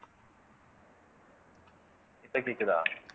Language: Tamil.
இப்ப கேக்குதா